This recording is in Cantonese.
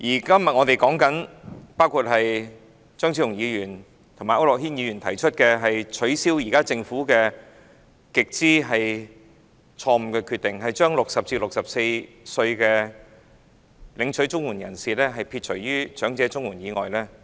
今天，張超雄議員和區諾軒議員提出擱置政府極之錯誤的決定，即是把60至64歲領取綜援人士剔出長者綜援之外。